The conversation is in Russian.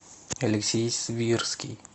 алексей свирский